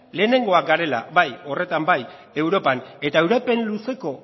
lehenengoak garela bai bai horretan bai europan eta iraupen luzeko